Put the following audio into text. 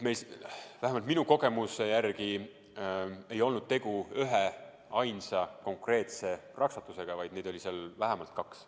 Vähemalt minu kogemuse järgi ei olnud tegu üheainsa konkreetse raksatusega, vaid neid oli seal vähemalt kaks.